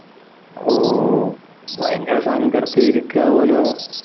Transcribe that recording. ഓ ഭയങ്കര സങ്കടത്തിൽ ഇരിക്കാവൂല്ലോ